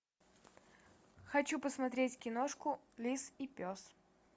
хочу посмотреть киношку лис и пес